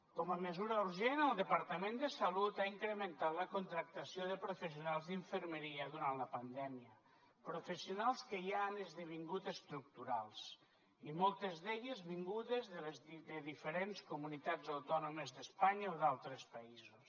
com a mesura urgent el departament de salut ha incrementat la contractació de professionals d’infermeria durant la pandèmia professionals que ja han esdevingut estructurals i moltes d’elles vingudes de diferents comunitats autònomes d’espanya o d’altres països